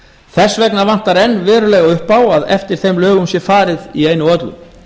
þess vegna vantar enn verulega upp á að eftir þeim lögum sé farið í einu og öllu